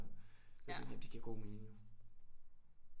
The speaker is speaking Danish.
Det giver god mening jo